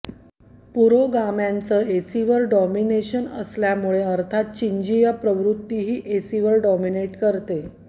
पुरोगाम्यांचं ऐसीवर डॉमिनेशन असल्यामुळे अर्थातच चिंजीय प्रवृत्तीही ऐसीवर डॉमिनेट करते